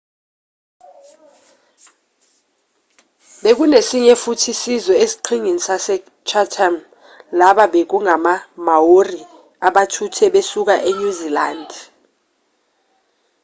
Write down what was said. bekunesinye futhi isizwe eziqhingini zase-chatham laba bekungama-maori abathuthe besuka enyuzilandi